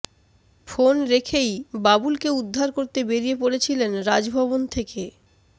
phone রেখেই বাবুলকে উদ্ধার করতে বেরিয়ে পড়েছিলেন রাজভবন থেকে